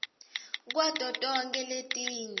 kwato tonkhe letinye